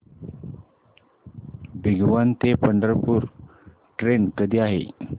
भिगवण ते पंढरपूर ट्रेन कधी आहे